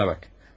Bana bax.